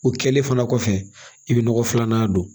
O kɛlen fana kɔfɛ i bɛ nɔgɔ filanan don